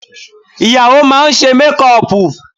Ìyàwó máa ṣe mékùpù